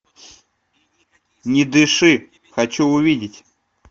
не дыши хочу увидеть